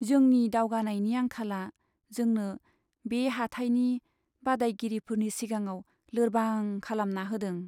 जोंनि दावगानायनि आंखालआ जोंनो बे हाथाइनि बादायगिरिफोरनि सिगाङाव लोरबां खालामना होदों।